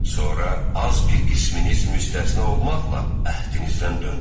Sonra az bir qisminiz müstəsna olmaqla əhdinizdən döndünüz.